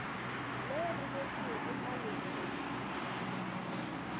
le rometšwego malokong di se